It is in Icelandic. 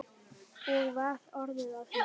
Og var orðið að henni?